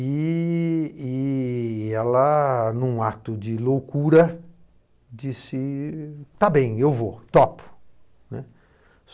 E e ela, num ato de loucura, disse tá bem, eu vou, topo, né.